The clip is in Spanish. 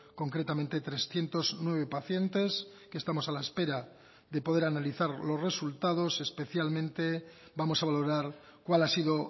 concretamente trescientos nueve pacientes que estamos a la espera de poder analizar los resultados especialmente vamos a valorar cuál ha sido